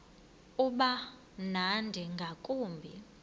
uba mnandi ngakumbi